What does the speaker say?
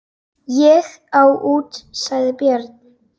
Ég á út, sagði Björn.